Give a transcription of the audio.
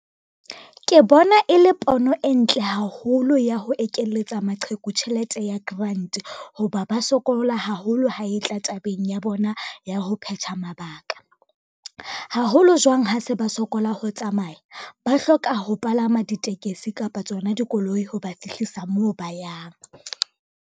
Ke bona e le pono e ntle haholo ya ho ekeletsa maqheku tjhelete ya grant, ho ba ba sokola haholo ha e tla tabeng ya bona ya ho phetha mabaka. Haholo jwang ha se ba sokola ho tsamaya, ba hloka ho palama ditekesi kapa tsona dikoloi ho ba fihlisa moo ba yang.